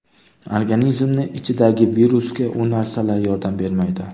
Organizmni ichidagi virusga u narsalar yordam bermaydi.